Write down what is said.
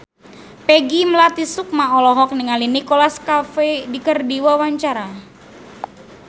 Peggy Melati Sukma olohok ningali Nicholas Cafe keur diwawancara